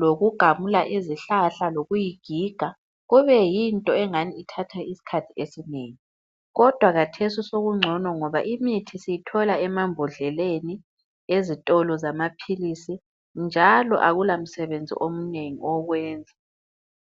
lokugamula izihlahla lokuyigiga kube yinto engani ithatha isikhathi esinengi kodwa khathesi sokungcono ngoba imithi siyithola emambodleleni ezitolo zamaphilisi njalo akulamsebenzi omnengi owokwenza.